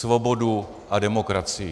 Svobodu a demokracii.